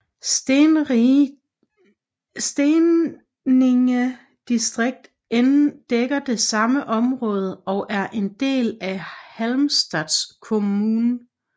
Steninge distrikt dækker det samme område og er en del af Halmstads kommun